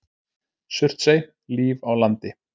Surtsey- Líf á landi.